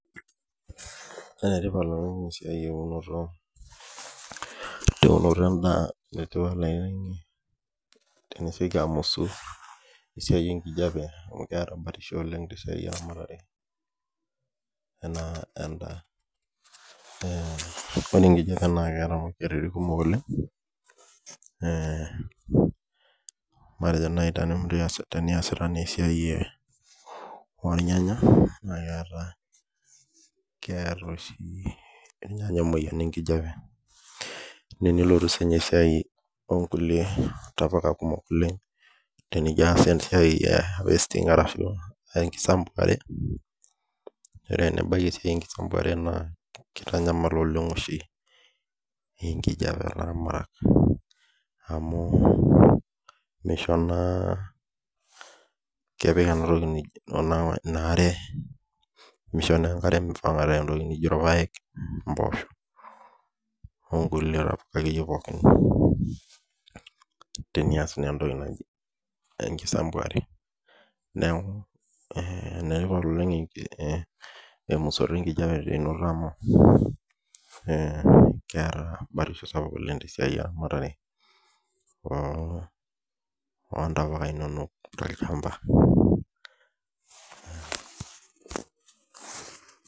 Enetipat tenatum esiai eunoto teunoto endaa etii oloing'ange tenisioki amusu esiai enkijiape amu keeta batisho oleng tesiai eramatare enaa endaa ore enkijiape naa keeta ee matejo naaji teniasita esiai oornyanya naa keeta oshi irnyanya emoyian enkijiape naa teniloti sii esiai ekulie tapuka kumok oleng tenijio aas esiai e wasting ashua enkisambuare nibaki sii enkisambuare naa keitanyamal oleng esiai oolaramatak amueisho naa kepik enatoki naji ina aare meisho naa enkare meipanga irpaek impoosho onkulie tokitin akeyie pookin tenenias enkisambuare neeku tenaingor oleng emusto enkijiape amu eee keeta batisho sapuk oleng esiai eramatare oontapuka inonok tolchamba